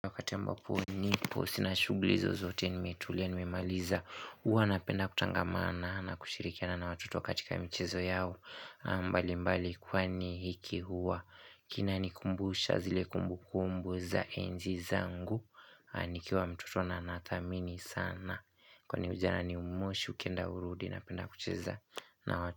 Wakati ambapo nipo sina shughuli zozote nimetulia nimemaliza huwa napenda kutangamana na kushirikiana na watoto katika mchezo yao mbalimbali kwani hiki huwa Kinanikumbusha zile kumbukumbu za enzi zangu nikiwa mtoto na nathamini sana Kwani ujana ni moshi ukienda urudi napenda kucheza na wa.